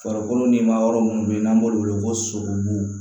Farikolo ni ma yɔrɔ munnu be yen n'an b'olu wele ko sogobu